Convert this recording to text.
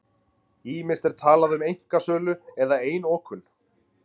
Ýmist er talað um einkasölu eða einokun.